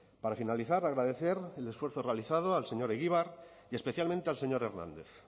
para finalizar agradecer el esfuerzo realizado al señor egibar y especialmente al señor hernández